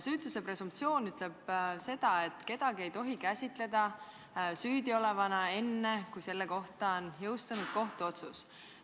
Süütuse presumptsioon ütleb, et kedagi ei tohi käsitada süüdi olevana enne, kui selle kohta on jõustunud kohtuotsus.